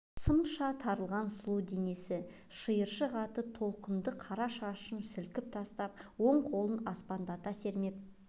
сымша тартылған сұлу денесі шиыршық атып толқынды қара шашын сілкіп тастап оң қолын аспандата сермеп